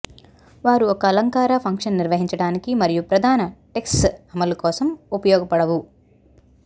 వారు ఒక అలంకార ఫంక్షన్ నిర్వహించడానికి మరియు ప్రధాన టెక్స్ట్ అమలు కోసం ఉపయోగపడవు